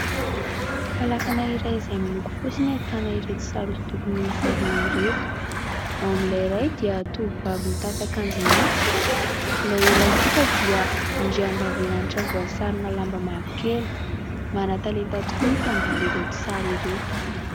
Falafana iray izay miloko fotsy ny ahitana ireto sary hosidoko miisa roa ireto, ao amin'ilay iray dia tovovavy mitafy ankanjo mainty, ilay iray kosa dia andriambavilanitra voasarona lamba mavokely, manatalenta tokoa ny mpiangaly ireto sary ireto.